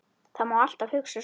Það má alltaf hugsa svona.